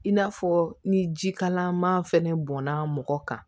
In n'a fɔ ni ji kalaman fɛnɛ bɔnna mɔgɔ kan